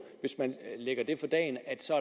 hvis man lægger det for dagen at